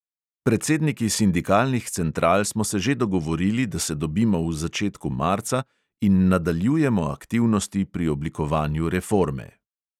Predsedniki sindikalnih central smo se že dogovorili, da se dobimo v začetku marca in nadaljujemo aktivnosti pri oblikovanju reforme ...